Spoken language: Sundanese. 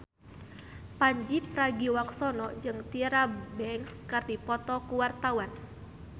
Pandji Pragiwaksono jeung Tyra Banks keur dipoto ku wartawan